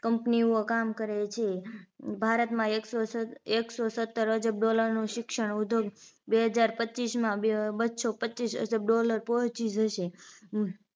Company ઓ કામ કરે છે ભારતમાં એકસો સત એકસો સત્તર અજબ dollar નું શિક્ષણ ઉદ્યોગ બે હજાર પચીસ માં બસો પચીસ અજબ dollar પહોંચી જશે